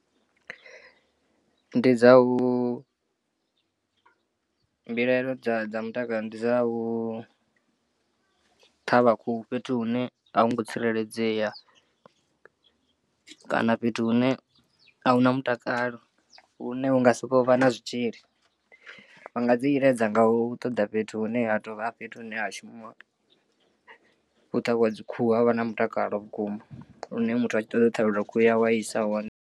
Ndi dza u mbilaelo dza dza mutakalo ndi dza u ṱhavha khuhu fhethu hune a hu ngo tsireledzea kana fhethu hune ahuna mutakalo hune hunga sokou vha na zwitzhili. Vha nga dzi iledza nga u ṱoḓa fhethu hune ha tovha fhethu hune ha shumiwa u ṱhavhiwa dzi khuhu havha na mutakalo vhukuma lune muthu a tshi ṱoḓa u ṱhavheliwa khuhu yawe a isa hone.